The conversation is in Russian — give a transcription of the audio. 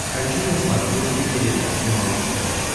хочу на смотрешке передачу малыш тв